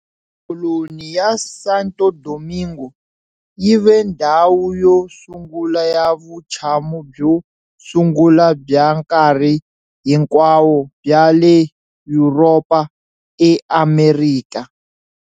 Koloni ya Santo Domingo yi ve ndhawu yo sungula ya vutshamo byo sungula bya nkarhi hinkwawo bya le Yuropa eAmerika.